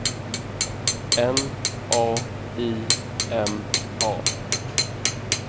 N A I M A